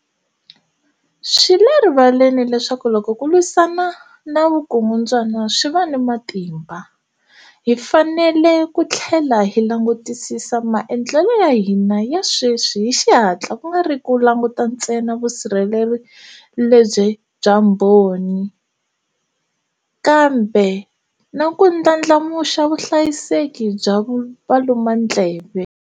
Swi le rivaleni leswaku loko ku lwisana na vukungundwana swi va ni matimba, hi fanele ku tlhela hi langutisisa maendlelo ya hina ya sweswi hi xihatla ku nga ri ku languta ntsena vusirheleri bya mbhoni, kambe na ku ndlandlamuxa vuhlayiseki bya valumandleve.